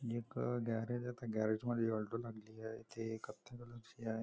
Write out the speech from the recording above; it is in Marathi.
एक गॅरेज आहे त्या गॅरेज मध्ये अलटो लागलेली आहे ति कथ्या कलर ची आहे.